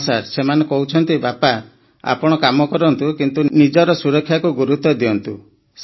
ହଁ ସାର୍ ସେମାନେ କହୁଛନ୍ତି ବାପା ଆପଣ କାମ କରନ୍ତୁ କିନ୍ତୁ ନିଜର ସୁରକ୍ଷାକୁ ଗୁରୁତ୍ୱ ଦିଅନ୍ତୁ